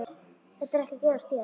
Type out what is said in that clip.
Þetta er ekki að gerast hér.